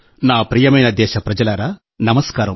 నా ప్రియమైన దేశప్రజలారా నమస్కారం